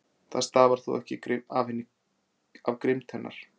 Það stafar þó ekki af grimmd hennar.